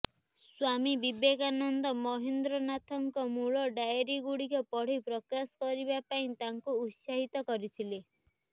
ସ୍ୱାମୀ ବିବେକାନନ୍ଦ ମହେନ୍ଦ୍ରନାଥଙ୍କ ମୂଳ ଡାଏରିଗୁଡ଼ିକ ପଢ଼ି ପ୍ରକାଶ କରିବା ପାଇଁ ତାଙ୍କୁ ଉତ୍ସାହିତ କରିଥିଲେ